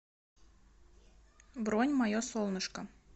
бронь мое солнышко